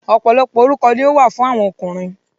ọ̀pọ̀lọpọ̀ orúkọ ni ó wà fún àwọn ọkùnrin.